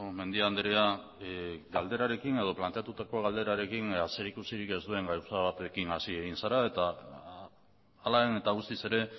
mendia andrea galderarekin edo planteatutako galderarekin zerikusirik ez duen gauza batekin hasi egin zara eta hala eta guztiz ere